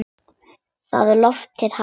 Það loforð halt.